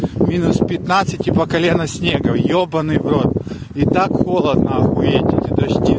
минус пятнадцать и по колено снега ёбаный в рот и так холодно эти дожди